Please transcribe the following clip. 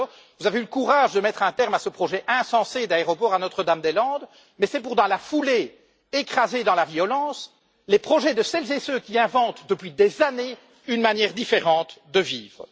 Certes, vous avez eu le courage de mettre à terme à ce projet insensé d'aéroport à Notre Dame des Landes, mais c'est pour dans la foulée écraser dans la violence les projets de celles et ceux qui inventent depuis des années une manière différente de vivre.